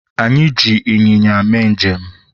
anyị ji ịnyịnya mee njem